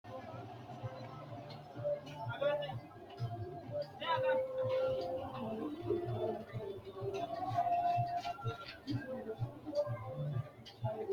lamu manni mimmitu mule uurrite mittu manchi hojjaameessunna, mittu manchi mereerimu, mitteenni ikkite leeltanno, hojjaameessu uddire noo uddano bulla koote ikkitano.